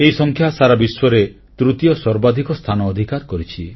ଏହି ସଂଖ୍ୟା ସାରା ବିଶ୍ୱରେ ତୃତୀୟ ସର୍ବାଧିକ ସ୍ଥାନ ଅଧିକାର କରିଛି